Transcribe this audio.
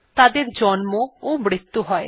তাদের জন্ম ও মৃতু হয়